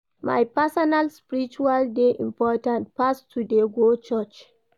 My personal spirituality dey important pass to dey go church.